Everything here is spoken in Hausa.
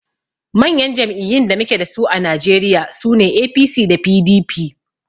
Manyan jam'iyyun da muke dasu a Najeriya sune APC da PDP